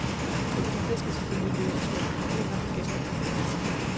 Konflikter skal selvfølgelig løses med forhandlinger og gennem debat.